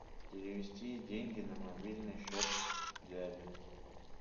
перевести деньги на мобильный счет дяди